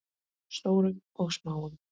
Stórum og smáum.